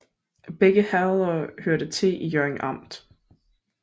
Begge herreder hørte til Hjørring Amt